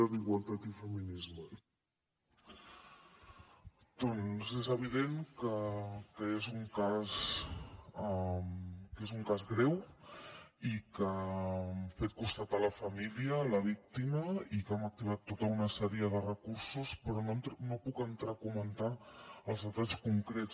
doncs és evident que és un cas greu i que hem fet costat a la família a la víctima i que hem activat tota una sèrie de recursos però no puc entrar a comentar ne els detalls concrets